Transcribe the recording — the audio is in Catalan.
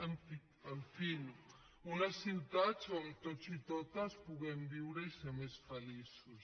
en fi unes ciutats on tots i totes puguem viure i ser més feliços